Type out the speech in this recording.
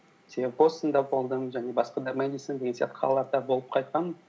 себебі бостонда болдым және басқа да мэдисон деген сияқты қалаларда болып қайтқанмын